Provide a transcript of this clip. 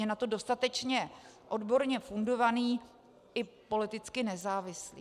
Je na to dostatečně odborně fundovaný i politicky nezávislý.